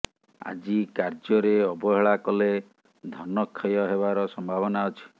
ଆଜି କାର୍ଯ୍ୟରେ ଅବହେଳା କଲେ ଧନକ୍ଷୟ ହେବାର ସମ୍ଭାବନା ଅଛି